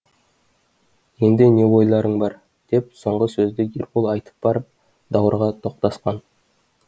енді не ойларың бар деп соңғы сөзді ербол айтып барып даурыға тоқтасқан